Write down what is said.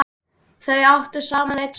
Þau áttu saman einn son.